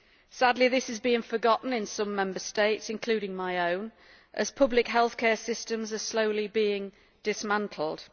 Sadly, this has been forgotten in some Member States, including my own, as public healthcare systems are slowly being dismantled.